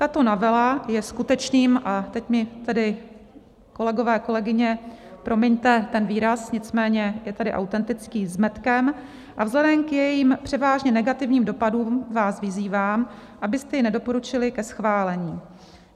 Tato novela je skutečným - a teď mi tedy, kolegové, kolegyně, promiňte ten výraz, nicméně je tady autentický - zmetkem a vzhledem k jejím převážně negativním dopadům vás vyzývám, abyste jej nedoporučili ke schválení.